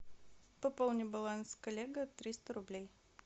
пополни баланс коллега триста рублей